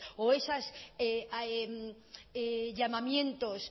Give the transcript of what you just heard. o esos llamamientos